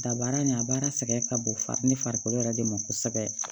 Dabaara nin a baara sɛgɛn ka bon farini farikolo yɛrɛ de ma kosɛbɛ